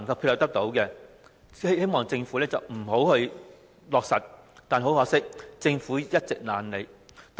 他們都希望政府不要落實發展項目，但很可惜，政府一直懶理他們的意見。